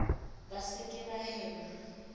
ba se ke ba hema